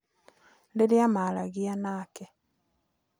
Rĩrĩa maaragia nake